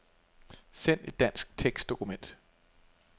Send et dansk tekstdokument.